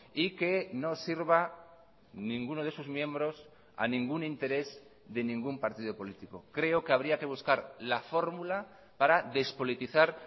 y que no sirva ninguno de sus miembros a ningún interés de ningún partido político creo que habría que buscar la fórmula para despolitizar